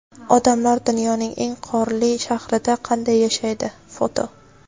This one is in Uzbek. Odamlar dunyoning eng qorli shahrida qanday yashaydi (foto).